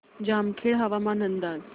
जामखेड हवामान अंदाज